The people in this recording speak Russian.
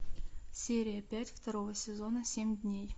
серия пять второго сезона семь дней